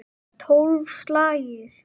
Tólf slagir!